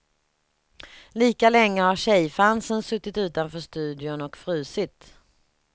Lika länge har tjejfansen suttit utanför studion och frusit.